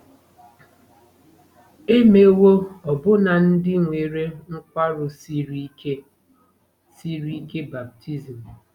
E mewo ọbụna ndị nwere nkwarụ siri ike siri ike baptizim.